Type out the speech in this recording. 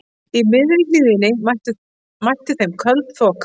Í miðri hlíðinni mætti þeim köld þoka.